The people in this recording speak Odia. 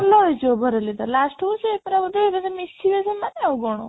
ଭଲ ହେଇଚି overally ତ last କୁ ସିଏ ପୁରା ବୋଧେ ଏକାଥରେ ମିଶିବେ ସେମାନେ ଆଉ କ'ଣ